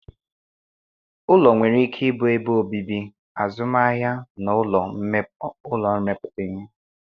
Ụlọ nwere ike ịbụ ebe obibi, azụmahịa na ụlọ ọrụ mmepụta ihe